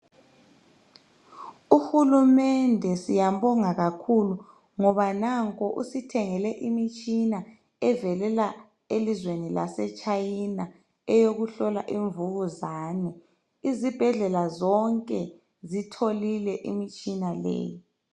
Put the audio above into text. Uhulumende siyambonga kakhulu ngoba nanku usithengele imitshina evelela elizweni laseChina eyokuhlola imvukuzane izibhedlela zonke zitholile imitshina leyi.